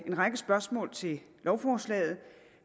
en række spørgsmål til lovforslaget